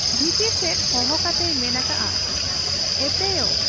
ᱵᱷᱤᱛᱤᱨ ᱥᱮᱫ ᱦᱚᱦᱚ ᱠᱟᱛᱮᱭ ᱢᱮᱱ ᱟᱠᱟᱜ ᱟ, 'ᱮᱛᱮᱭᱚ !